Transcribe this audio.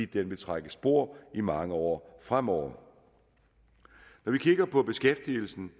den vil trække spor i mange år fremover når vi kigger på beskæftigelsen